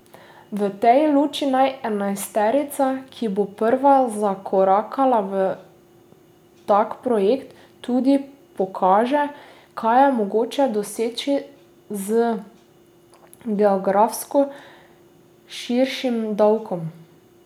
V tej luči naj enajsterica, ki bo prva zakorakala v tak projekt, tudi pokaže, kaj je mogoče doseči z geografsko širšim davkom.